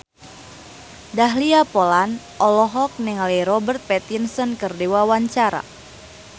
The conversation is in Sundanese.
Dahlia Poland olohok ningali Robert Pattinson keur diwawancara